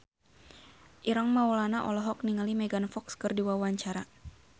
Ireng Maulana olohok ningali Megan Fox keur diwawancara